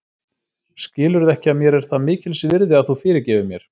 Skilurðu ekki að mér er það mikils virði að þú fyrirgefir mér.